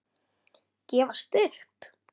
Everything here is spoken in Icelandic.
Gefast upp?